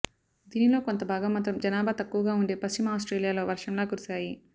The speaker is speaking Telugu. దీనిలో కొంతభాగం మాత్రం జనాభా తక్కువగా ఉండే పశ్చిమ ఆస్ట్రేలియాలో వర్షంలా కురిసాయి